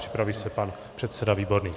Připraví se pan předseda Výborný.